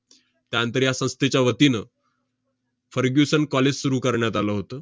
त्यानंतर या संस्थेच्या वतीनं fergusson college सुरु करण्यात आलं होतं.